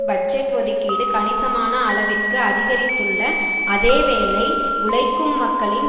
budget ஒதுக்கீடு கணிசமான அளவிற்கு அதிகரித்துள்ள அதேவேளை உழைக்கும் மக்களின்